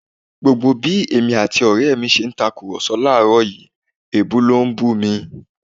Gbogbo bí èmi àti ọrẹ mi ti ń tàkùrọ̀sọ láàrọ̀ yìí, èébú ló ń bú mi